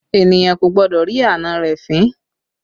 Èniyàn kò gbọ́dọ̀ rí àna rẹ̀ fín